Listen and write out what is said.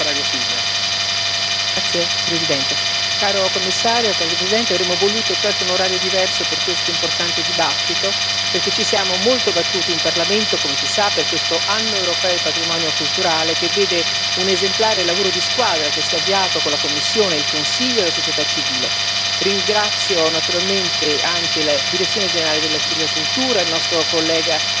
Signor Presidente, signor Commissario, onorevoli colleghi, avremmo voluto un orario diverso per questo importante dibattito, perché ci siamo molto battuti in Parlamento, come si sa, per questo Anno europeo del patrimonio culturale, che vede un esemplare lavoro di squadra con la Commissione, il Consiglio e la società civile. Ringrazio naturalmente anche la Direzione generale della cultura e il nostro collega